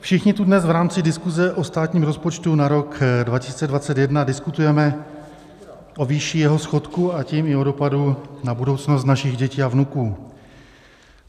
Všichni tu dnes v rámci diskuze o státním rozpočtu na rok 2021 diskutujeme o výši jeho schodku, a tím i o dopadu na budoucnost našich dětí a vnuků.